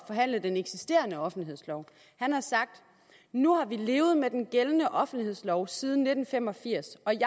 forhandle den eksisterende offentlighedslov han har sagt nu har vi levet med den gældende offentlighedslov siden nitten fem og firs og jeg